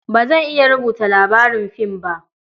Ba zan iya rubuta labarin fim ba.